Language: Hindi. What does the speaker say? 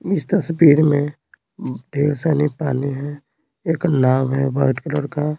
इस तस्वीर में ढेर सानी पानी है एक नाव है वाइट कलर का।